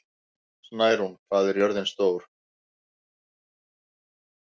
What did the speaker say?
Snærún, hvað er jörðin stór?